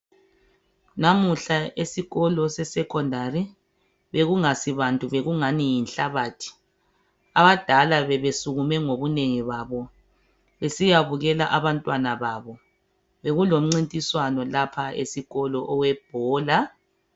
Lamuhla esikolo sesecondary bekungasibantu bekungani yinhlabathi abadala bebesukume ngobunengi babo besiyabukela abantwana babo bekulomncintiswano esikolo owebhola